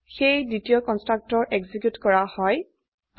সেয়ে দ্বিতীয় constructor execute কৰা হয়